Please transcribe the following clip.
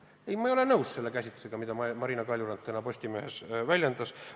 Ei, ma ei ole nõus selle käsitlusega, mida Marina Kaljurand täna Postimehes väljendas.